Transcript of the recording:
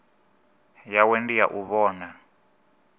yawe ndi ya u vhona